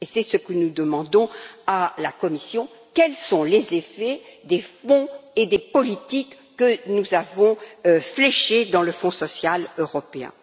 C'est ce que nous demandons à la Commission quels sont les effets des fonds et des politiques que nous avons fléchés dans le Fonds social européen?